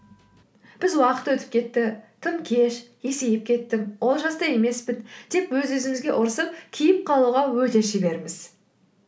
біз уақыт өтіп кетті тым кеш есейіп кеттім он жаста емеспін деп өз өзімізге ұрсып кейіп қалуға өте шеберміз